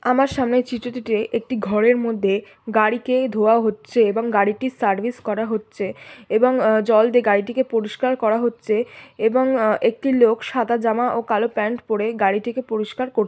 আমার সামনে চিত্রটিতে একটি ঘরের মধ্যে গাড়িকে ধোয়া হচ্ছে এবং গাড়িটি সার্ভিস করা হচ্ছে এবং উম জল দিয়ে গাড়িটিকে পরিষ্কার করা হচ্ছে এবং উম একটি লোক সাদা জামা ও কালো প্যান্ট পড়ে গাড়িটিকে পরিষ্কার কর--।